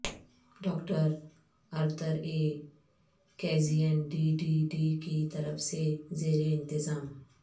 doctor Arthur A کیزین D D D کی طرف سے زیر انتظام